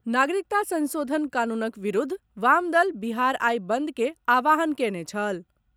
नागरिकता संशोधन कानूनक विरूद्ध वाम दल बिहार आइ बंद के आह्वान कयने छल।